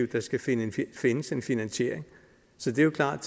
der skal findes findes en finansiering så det er klart